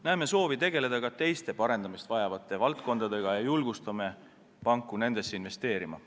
Näeme soovi tegeleda ka teiste parendamist vajavate valdkondadega ja julgustame panku sellesse investeerima.